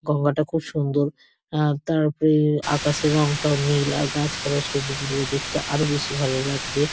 গঙ্গা -টা খুব সুন্দর। আ তার ওপরে আকাশের রংটাও নীল আর গাছপালা সবুজ বলে দেখতে আরো বেশী ভালো লাগছে।